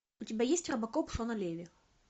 у тебя есть робокоп шона леви